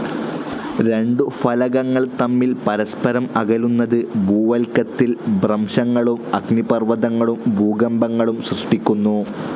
രണ്ടു ഫലകങ്ങൾ തമ്മിൽ പരസ്പരം അകലുന്നത്, ഭൂവൽക്കത്തിൽ ഭ്രംശങ്ങളും, അഗ്നിപർവതങ്ങളും, ഭൂകമ്പങ്ങളും സൃഷ്ടിക്കുന്നു.